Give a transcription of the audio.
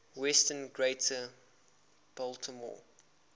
western greater baltimore